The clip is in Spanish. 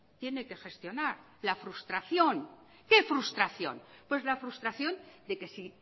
tiene que gestionar la frustración qué frustración pues la frustración de que si